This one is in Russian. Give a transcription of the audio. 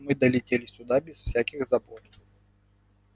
мы долетели сюда без всяких забот